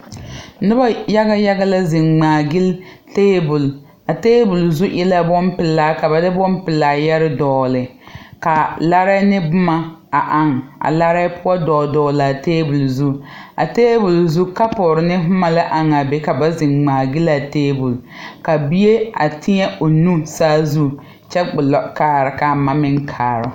Noba yaga yaga la zeŋ ngmaagyile tabol a tabol zu e la bonpilaa ka ba de bonpilaa yɛre dɔgle kaa larɛɛ ne bomma a aŋ a larɛɛ poɔ dɔɔle dɔɔle laa tabol zu a tabol zu kapure ne bomma la aŋaa be ka zeŋ ngmaagyile laa tabol ka bie a tēɛ o nu saazu kyɛ gbullɔ kaara kaa ma meŋ kaara.